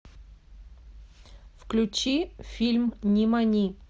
включи фильм нимани